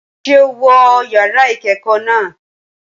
Ṣé o wọ yàrá ìkẹ́kọ̀ọ́ náà?